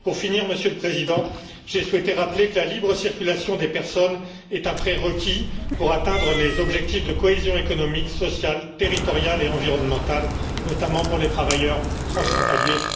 Pour finir, Monsieur le Président, j'ai souhaité rappeler que la libre circulation des personnes est un prérequis pour atteindre les objectifs de cohésion économique, sociale, territoriale et environnementale, notamment pour les travailleurs transfrontaliers.